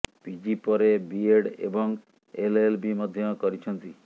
PG ପରେ BEd ଏବଂ LLB ମଧ୍ୟ କରିଛନ୍ତି